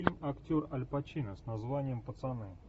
фильм актер аль пачино с названием пацаны